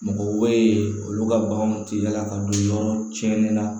Mɔgɔw bɛ yen olu ka baganw tɛ yaala ka don yɔrɔ tiɲɛnen na